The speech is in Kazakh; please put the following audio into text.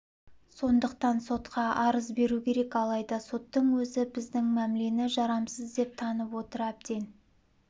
сондықтан сотқа арыз беру керек алайда соттың өзі біздің мәмлені жарамсыз деп танып отыр әбден